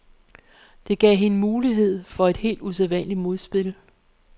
Det gav hende mulighed for et helt usædvanligt modspil.